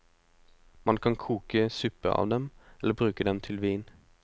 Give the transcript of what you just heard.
Man kan koke suppe av dem, eller bruke dem til vin.